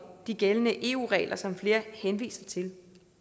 de gældende eu regler som flere henviser til